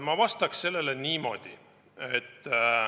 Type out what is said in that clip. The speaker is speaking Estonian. Ma vastaks sellele niimoodi.